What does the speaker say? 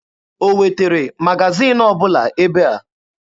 O wetere magaziini ọbụla ebe a?